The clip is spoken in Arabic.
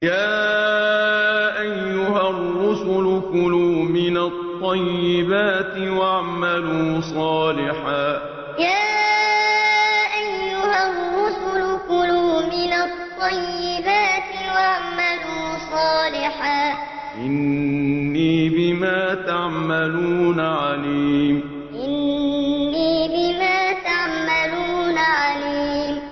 يَا أَيُّهَا الرُّسُلُ كُلُوا مِنَ الطَّيِّبَاتِ وَاعْمَلُوا صَالِحًا ۖ إِنِّي بِمَا تَعْمَلُونَ عَلِيمٌ يَا أَيُّهَا الرُّسُلُ كُلُوا مِنَ الطَّيِّبَاتِ وَاعْمَلُوا صَالِحًا ۖ إِنِّي بِمَا تَعْمَلُونَ عَلِيمٌ